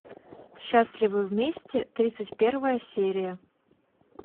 счастливы вместе тридцать первая серия